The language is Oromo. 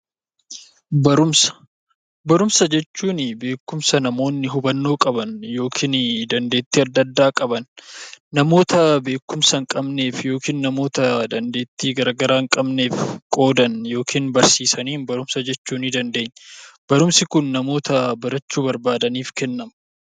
Barumsa jechuun beekumsa namoonni hubannoo qaban yookiin dandeettii adda addaa qaban namoota beekumsa hin qabnee yookiin namoota dandeetti garaagaraa hin qabneef qoodan yookiin barsiisaniin barumsa jechuu dandeenya. Barumsi kun namoota barachuu barbaadaniif kennama.